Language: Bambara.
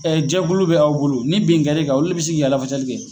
jɛkulu bɛ aw bolo ni bin kɛr'i kan, olu le bi se k'i ka lafasali kɛ